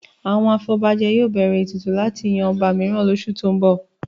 Àwọn afọbajẹ yóò bẹ̀rẹ̀ ètùtù láti yan ọba mìíràn lóṣù tó ń bọ̀